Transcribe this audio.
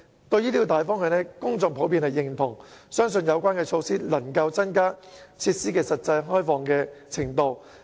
對於這個大方向，公眾普遍認同，相信有關措施能夠增加設施的實際開放程度。